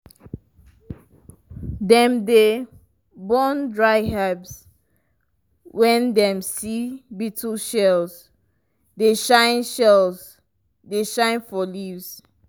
dem dey burn dry herbs when dem see beetle shells dey shine shells dey shine for leaves.